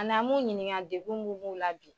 An'an m'u ɲiniŋa degun mun b'u la bi